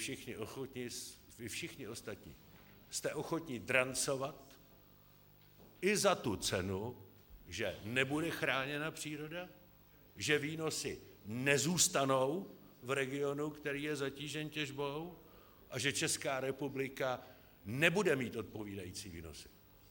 Vy všichni ostatní jste ochotní drancovat i za tu cenu, že nebude chráněna příroda, že výnosy nezůstanou v regionu, který je zatížen těžbou, a že Česká republika nebude mít odpovídající výnosy.